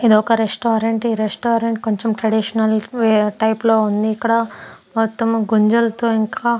ఇదొక రెస్టారెంట్ ఈ రెస్టారెంట్ కొంచెం ట్రెడిషనల్ వే టైప్ లో ఉంది ఇక్కడ మొత్తం గుంజలతో ఇంకా--